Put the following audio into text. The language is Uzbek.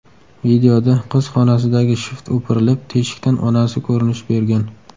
Videoda qiz xonasidagi shift o‘pirilib, teshikdan onasi ko‘rinish bergan.